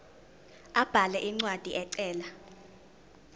abhale incwadi ecela